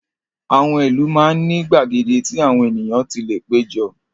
Àwọn ìlú máa ń ní gbàgede tí àwọn ènìyàn ti lè pé jọ.